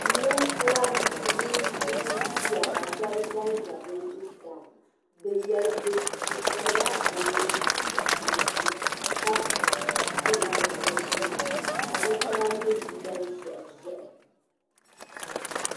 Ninkura n-ʒiya ka shɛba zan za be zuɣusaa be pirila be nuhi baŋsi ka pili zipiliti ka be nɛma nyɛ liiga ʒehi ʒehi.